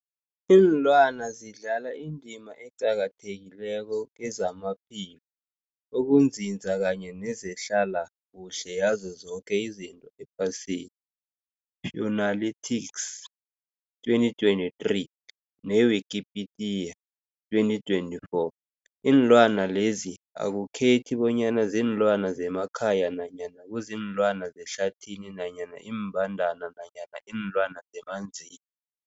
Ilwana zidlala indima eqakathekileko kezamaphilo, ukunzinza kanye nezehlala kuhle yazo zoke izinto ephasini, Fuanalytics 2023, ne-Wikipedia 2024. Iinlwana lezi akukhethi bonyana ziinlwana zemakhaya nanyana kuziinlwana zehlathini nanyana iimbandana nanyana iinlwana zemanzini.